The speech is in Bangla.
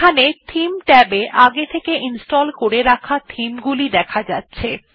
এখানে থিমস ট্যাব এ আগে থেকে ইনস্টল করে রাখা theme গুলি দেখা যাচ্ছে